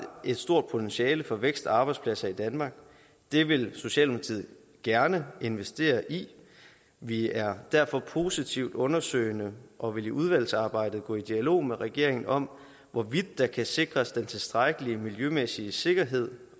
et stort potentiale for vækst og arbejdspladser i danmark det vil socialdemokratiet gerne investere i vi er derfor positivt undersøgende og vil i udvalgsarbejdet gå i dialog med regeringen om hvorvidt der kan sikres den tilstrækkelige miljømæssige sikkerhed